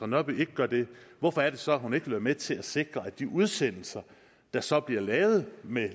nørby ikke gør det hvorfor er det så at hun ikke vil være med til at sikre at de udsendelser der så bliver lavet med